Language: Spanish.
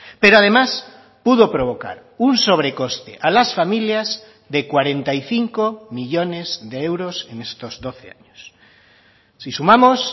pero además pudo provocar un sobrecoste a las familias de cuarenta y cinco millónes de euros en estos doce años si sumamos